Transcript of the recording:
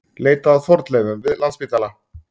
Leita að fornleifum við Landspítala